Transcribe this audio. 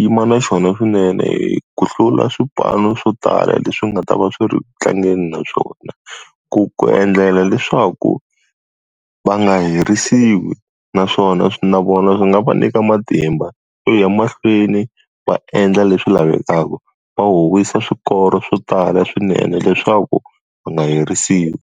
yima na xona swinene hi ku hlula swipanu swo tala leswi nga ta va swi ri ku tlangeni na swona. Ku ku endlela leswaku va nga herisiwi naswona na vona swi nga va nyika matimba, yo ya mahlweni va endla leswi lavekaka. Va howisa swikoro swo tala swinene leswaku va nga herisiwi.